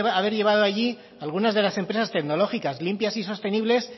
haber llevado allí algunas de las empresas tecnológicas limpias y sostenibles